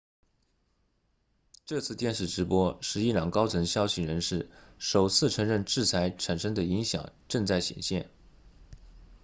这次电视直播是伊朗高层消息人士首次承认制裁产生的影响正在显现